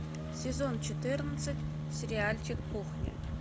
сезон четырнадцать сериальчик кухня